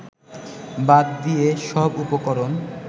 বাদ দিয়ে সব উপকরণ